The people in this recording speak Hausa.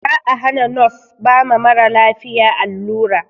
Za a hana nos ba ma maralafiya allura